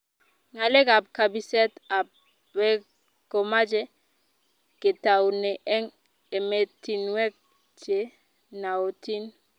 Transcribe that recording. Ngalek ab kabiset ab beek ko mache ketaune eng ematinwek che naotin